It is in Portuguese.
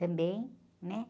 Também, né?